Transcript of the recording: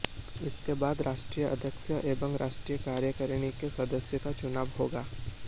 इसके बाद राष्ट्रीय अध्यक्ष एवं राष्ट्रीय कार्यकारिणी के सदस्यों का चुनाव होगा